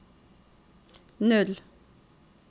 null